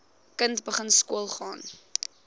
kind begin skoolgaan